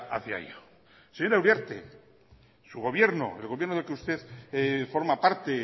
hacia ello señora uriarte su gobierno el gobierno del que usted forma parte